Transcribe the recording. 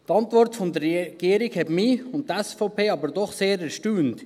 Die Antwort der Regierung hat mich und die SVP aber doch sehr erstaunt.